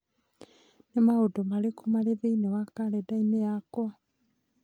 Nĩ maũndũ marĩkũ marĩ thĩinĩ wa kalendarĩ yakwa?